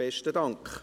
Besten Dank.